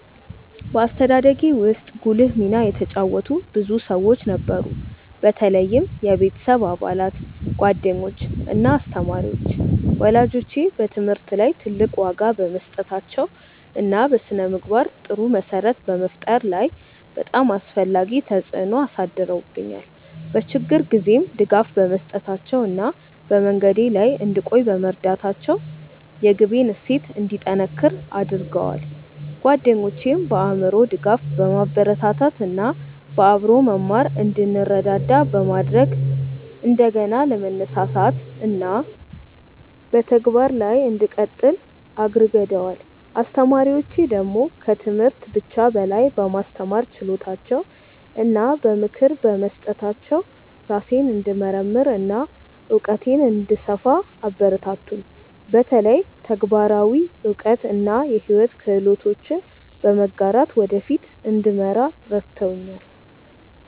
በአስተዳደጌ ውስጥ ጉልህ ሚና የተጫወቱ ብዙ ሰዎች ነበሩ፣ በተለይም የቤተሰብ አባላት፣ ጓደኞች እና አስተማሪዎች። ወላጆቼ በትምህርት ላይ ትልቅ ዋጋ በመስጠታቸው እና በስነ-ምግባር ጥሩ መሰረት በመፍጠር ላይ በጣም አስፈላጊ ተጽዕኖ አሳድረውብኛል፤ በችግር ጊዜም ድጋፍ በመስጠታቸው እና በመንገዴ ላይ እንድቆይ በመርዳታቸው የግቤን እሴት እንዲጠነክር አድርገዋል። ጓደኞቼም በአእምሮ ድጋፍ፣ በማበረታታት እና በአብሮ መማር እንድንረዳዳ በማድረግ እንደገና ለመነሳሳት እና በተግባር ላይ እንድቀጥል አግርገደዋል። አስተማሪዎቼ ደግሞ ከትምህርት ብቻ በላይ በማስተማር ችሎታቸው እና በምክር በመስጠታቸው ራሴን እንድመርምር እና እውቀቴን እንድሰፋ አበረታቱኝ፤ በተለይ ተግባራዊ እውቀት እና የሕይወት ክህሎቶችን በመጋራት ወደ ፊት እንድመራ ረድተውኛል።